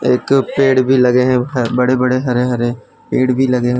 एक पेड़ भी लगे हैं बड़े बड़े हरे हरे पेड़ भी लगे है।